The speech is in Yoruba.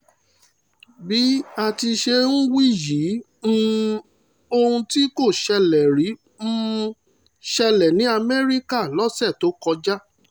bí a ti ṣe ń wí yìí um ohun tí kò ṣẹlẹ̀ rí um ṣẹlẹ̀ ní amẹ́ríkà lọ́sẹ̀ tó kọjá